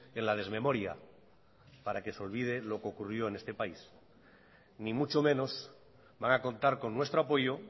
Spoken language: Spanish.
en la desmemoria para que se olvide lo que ocurrió en este país ni mucho menos van a contar con nuestro apoyo